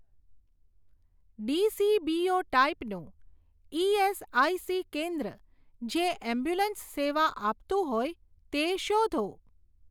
DCBO ટાઈપનું ESIC કેન્દ્ર જે એમ્બ્યુલન્સ સેવા આપતું હોય તે શોધો.